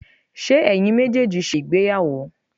ṣe eyín mejeejí sé ìgbéyàwó?